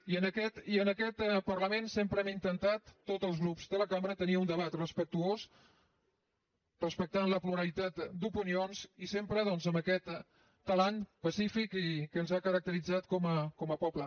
i en aquest parlament sempre hem intentat tots els grups de la cambra tenir un debat respectuós respectant la pluralitat d’opinions i sempre doncs amb aquest talant pacífic que ens ha caracteritzat com a poble